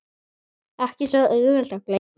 Ekki svo auðvelt að gleyma